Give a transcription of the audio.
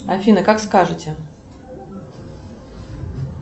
афина как скажите